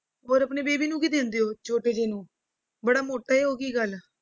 ਹੋਰ ਆਪਣੇ baby ਨੂੰ ਕੀ ਦਿੰਦੇ ਛੋਟੇ ਜਿਹੇ ਨੂੰ, ਬੜਾ ਮੋਟਾ ਹੈ ਉਹ ਕੀ ਗੱਲ।